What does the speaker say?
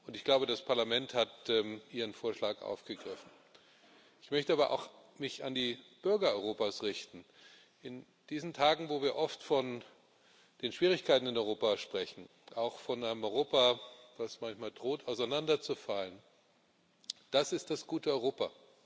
Ich glaube, das Parlament hat Ihren Vorschlag aufgegriffen. Ich möchte mich aber auch an die Bürger Europas richten in diesen Tagen, wo wir oft von den Schwierigkeiten in Europa sprechen, auch von einem Europa, das manchmal droht, auseinander zu fallen das ist das gute Europa.